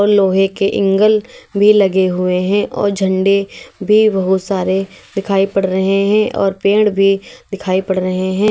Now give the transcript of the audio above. लोहे के एंगल भी लगे हुए हैं और झंडे भी बहुत सारे दिखाई पड़ रहे हैं और पेड़ भी दिखाई पड़ रहे हैं।